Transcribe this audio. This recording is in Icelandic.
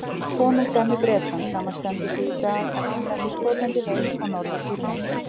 Konungdæmið Bretland samanstendur því í dag af Englandi, Skotlandi, Wales og Norður-Írlandi.